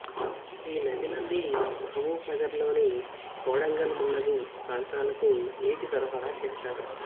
ఈ నది నుండి మహబూబ్ నగర్లోని కోడంగల్ మున్నగు ప్రాంతాలకు నీటి సరఫరా చేస్తారు